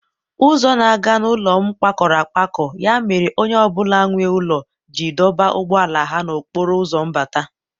Ụzọ na-aga n'ụlọ m kpakọrọ akpakọ ya mere onye ọ bụla nwe ụlọ ji dọba ụgbọala ha n'okporo ụzọ mbata.